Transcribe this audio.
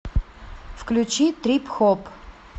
включи трип хоп